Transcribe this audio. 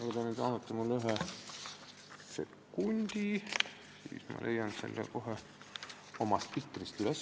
Kui te nüüd annate mulle ühe sekundi, siis ma leian selle koha kohe oma spikrist üles.